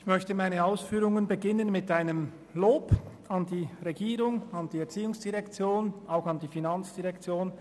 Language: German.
Ich möchte meine Ausführungen mit einem Lob an die Regierung beginnen, an die ERZ und auch an die FIN.